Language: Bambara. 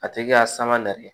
A tigi ka sanga nali